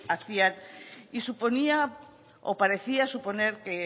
hacían y suponía o parecía suponer que